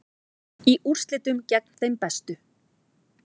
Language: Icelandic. Í úrslitum gegn þeim bestu